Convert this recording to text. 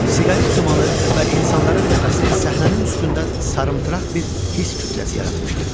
Siqaret dumanı və insanların nəfəsi səhnənin üstündə sarımtıraq bir hiss kütləsi yaratmışdı.